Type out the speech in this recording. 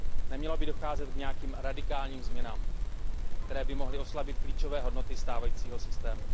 Nemělo by docházet k nějakým radikálním změnám, které by mohly oslabit klíčové hodnoty stávajícího systému.